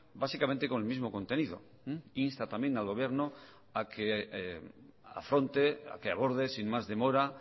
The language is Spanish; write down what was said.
básicamente con el mismo contenido insta también al gobierno a que afronte a que aborde sin más demora